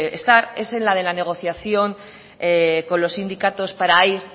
estar es en el de la negociación con los sindicatos para ir